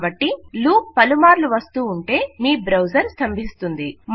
కాబట్టి లూప్ పలుమార్లు వస్తూ ఉంటే మీ బ్రౌజర్ స్తంభిస్తుంది